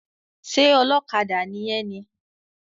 Ṣé ọlọ́kadà ni ẹ ni?